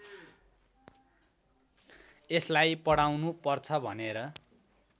यसलाई पढाउनुपर्छ भनेर